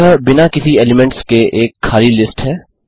यह बिना किसी एलीमेंट्स के एक खाली लिस्ट है